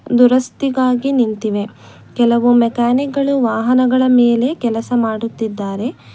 ಒಂದು ರಸ್ತೆಗಾಗಿ ನಿಂತಿವೆ ಕೆಲವು ಮೆಕ್ಯಾನಿಕ್ ಗಳು ವಾಹನಗಳ ಮೆಲೆ ಕೆಲಸ ಮಾಡುತ್ತಿದ್ದಾರೆ.